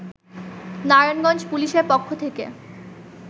নারায়ণগঞ্জ পুলিশের পক্ষ থেকে